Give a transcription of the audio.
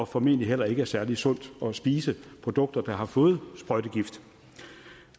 formentlig heller ikke særlig sundt at spise produkter der har fået sprøjtegift